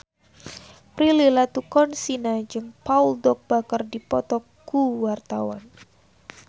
Prilly Latuconsina jeung Paul Dogba keur dipoto ku wartawan